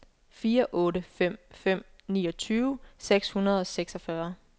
fire otte fem fem niogtyve seks hundrede og seksogfyrre